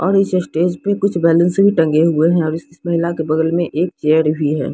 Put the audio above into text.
और इस स्टेज पे कुछ बैलेंसिंग टंगे हुए हैं और इस महिला के बगल में एक चेयर भी हैं।